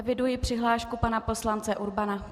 Eviduji přihlášku pana poslance Urbana.